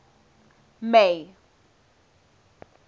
may